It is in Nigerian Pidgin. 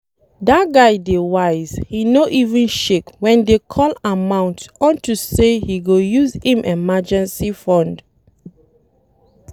Dat guy dey wise, he no even shake wen dey call amount unto say he go use im emergency fund